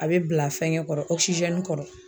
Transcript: A be bila fɛngɛ kɔrɔ ɔkisizɛni kɔrɔ